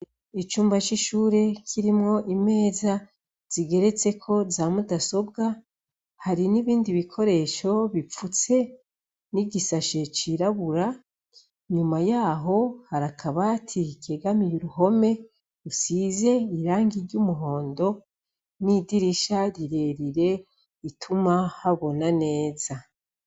Icumba c'ishure kirimwo imeza ziteretseko za mudasobwa, n'ibindi bikoresho bifutse n'igi sashe cirabura, nyuma yaho hari akabati kegamiye uruhome gasize irangi ry'umuhondo, n'idirisha rirerire rituma habona neza.